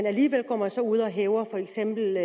alligevel går man ud og hæver for eksempel